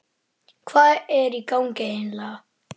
Hvað er í gangi eiginlega?